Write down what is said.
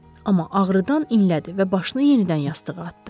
Amma ağrıdan inlədi və başını yenidən yastığa atdı.